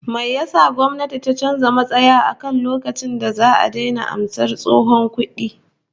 Me yasa gwamnayti ta canza matsaya akan lokacin da za'a daina karbar tsohon kudi?